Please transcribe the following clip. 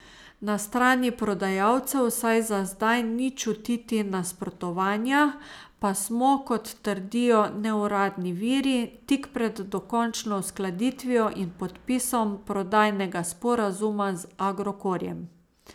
Na strani prodajalcev vsaj za zdaj ni čutiti nasprotovanja, pa smo, kot trdijo neuradni viri, tik pred dokončno uskladitvijo in podpisom prodajnega sporazuma z Agrokorjem.